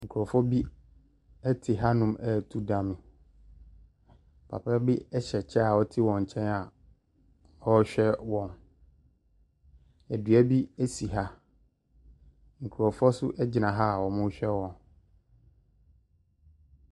Nkurɔfoɔ bi te hanom reto dame. Papa bi hyɛ kyɛ a ɔte wɔn nkyɛn a ɔrehwɛ wɔn. Dua bi si ha. Nkurɔfoɔ nso gyina ha a wɔrehwɛ wɔn.